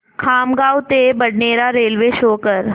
खामगाव ते Badnera railway show कर